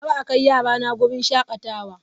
Kar a kai yarana wurin shakatawa!